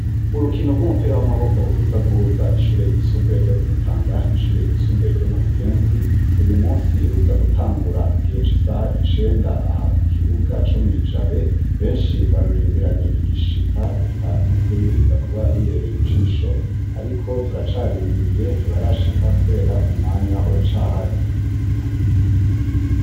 Urukino rw'umupira w'amaboko ruza guhuza ishure ry'isumbuye ryo ku Mutanga n'ishure ry'isumbuye ryo mu Buyenzi, uyu munsi ruza gutangura igihe c'isaha icenda aha ku kibuga co mw'i Jabe, benshi barurindiranye igishika eka n'ukuri biza kuba bibereye ijisho, ariko turacarindiriye ntibarashika kubera umwanya uracahari.